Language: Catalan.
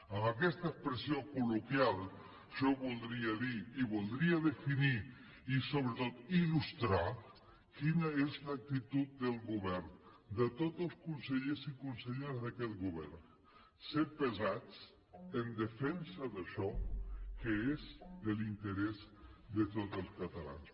amb aquesta expressió col·loquial jo voldria dir i voldria definir i sobretot il·lustrar quina és l’actitud del govern de tots els consellers i conselleres d’aquest govern ser pesats en defensa d’això que és de l’interès de tots els catalans